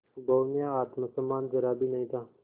बहू में आत्म सम्मान जरा भी नहीं था